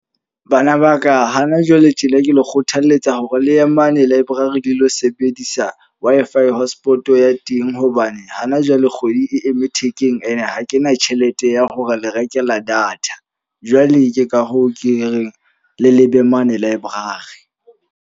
Bana ba ka hana jwale tjena ke le kgothaletsa hore le ye mane library le lo sebedisa Wi-Fi hotspot ya teng. Hobane hana jwale kgwedi e eme thekeng e ne ha ke na tjhelete ya hore le rekela data. Jwale ke ka hoo ke reng le lebe mane library.